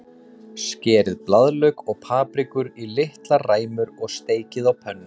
Skerið blaðlauk og paprikur í litlar ræmur og steikið á pönnu.